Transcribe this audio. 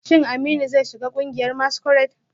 Shin Aminu zai shiga kungiyar masquerade?